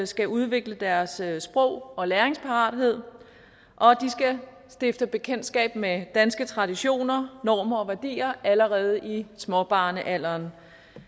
skal udvikle deres sprog og læringsparathed og de skal stifte bekendtskab med danske traditioner normer og værdier allerede i småbørnsalderen